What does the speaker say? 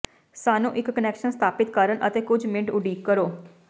ਸਾਨੂੰ ਇੱਕ ਕਨੈਕਸ਼ਨ ਸਥਾਪਿਤ ਕਰਨ ਅਤੇ ਕੁਝ ਮਿੰਟ ਉਡੀਕ ਕਰੋ